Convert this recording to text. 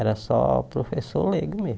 Era só professor leigo mesmo.